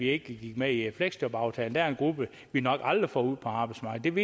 ikke gik med i fleksjobaftalen der er en gruppe vi nok aldrig får ud på arbejdsmarkedet